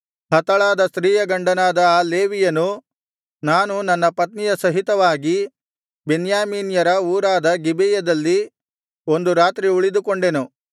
ಹತಳಾದ ಸ್ತ್ರೀಯ ಗಂಡನಾದ ಆ ಲೇವಿಯನು ನಾನು ನನ್ನ ಉಪಪತ್ನಿಯ ಸಹಿತವಾಗಿ ಬೆನ್ಯಾಮೀನ್ಯರ ಊರಾದ ಗಿಬೆಯದಲ್ಲಿ ಒಂದು ರಾತ್ರಿ ಉಳಿದುಕೊಂಡೆನು